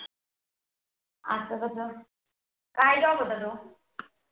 आता कस, काय Job होता तो?